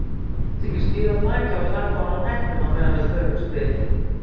Viltu ekki stíga af baki og taka ofan hettuna á meðan við tölumst við?